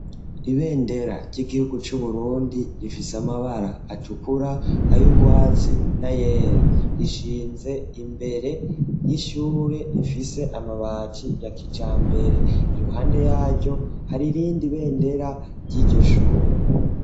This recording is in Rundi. Ibendera ry'igihugu c'uburundi rifise amabara atukura ayo urwatsi na yera rishinze imbere y'ishure rifise amabati ya kija mbere iruhande yaryo hari irindi ibendera ry'iryo shure.